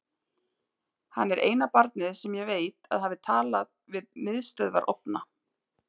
Hann er eina barnið sem ég veit að hafi talað við miðstöðvarofna.